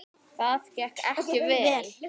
Það gekk ekki vel.